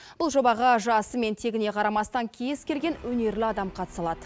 бұл жобаға жасы мен тегіне қарамастан кез келген өнерлі адам қатыса алады